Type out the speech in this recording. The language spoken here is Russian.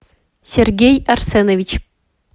сергей арсенович